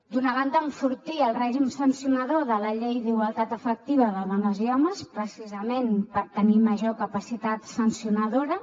d’una banda enfortir el règim sancionador de la llei d’igualtat efectiva de dones i homes precisament per tenir major capacitat sancionadora